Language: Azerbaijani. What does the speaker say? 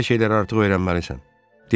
Belə şeyləri artıq öyrənməlisən.